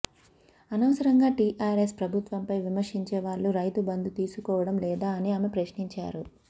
అనవసరంగా టీఆర్ఎస్ ప్రభుత్వంపై విమర్శించే వాళ్ళు రైతు బంధు తీసుకోవడం లేదా అని ఆమె ప్రశ్నించారు